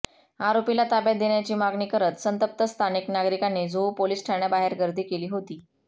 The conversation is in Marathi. आरोपीला ताब्यात देण्याची मागणी करत संतप्त स्थानिक नागरिकांनी जुहू पोलीस ठाण्याबाहेर गर्दी केली होती